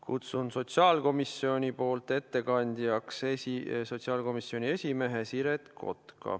Kutsun sotsiaalkomisjoni ettekandjaks sotsiaalkomisjoni esimehe Siret Kotka.